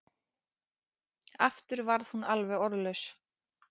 Aftur varð hún alveg orðlaus.